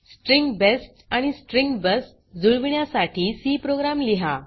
string best आणि string बस जुळविण्यासाठी सी प्रोग्राम लिहा